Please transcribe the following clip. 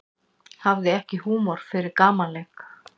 Hafði ekki húmor fyrir gamanleik